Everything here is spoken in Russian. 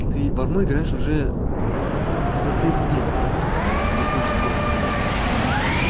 ты в одну играешь уже где-то третий день если не четвёртый